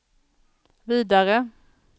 vidare